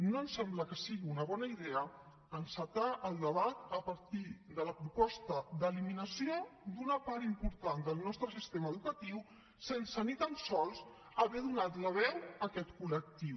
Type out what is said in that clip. no em sembla que sigui una bona idea encetar el debat a partir de la proposta d’eliminació d’una part important del nostre sistema educatiu sense ni tan sols haver donat la veu a aquest col·lectiu